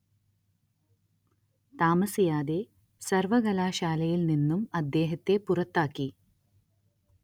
താമസിയാതെ സര്‍വ്വകലാശാലയില്‍ നിന്നും അദ്ദേഹത്തെ പുറത്താക്കി